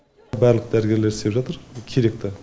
барлық дәрігерлер істеп жатыр керекті